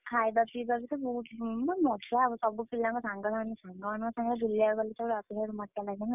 ଖାଇବା ପିଇବା ତ ବହୁତ ମଜା ହବ ମାନେ ସବୁ ପିଲାଙ୍କ ସହ ସାଙ୍ଗ ମାନଙ୍କ ସବୁ ବୁଲିବାକୁ ଗଲେ automatic ମଜା ଲାଗେନା